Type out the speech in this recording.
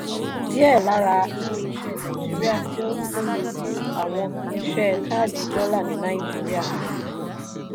díẹ̀ lára ilé-iṣẹ́ naijiria tí ó ń fúnni àwọn iṣẹ́ káàdì dọ́là ní nàìjíríà.